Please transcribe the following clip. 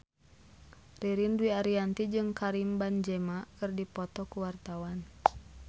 Ririn Dwi Ariyanti jeung Karim Benzema keur dipoto ku wartawan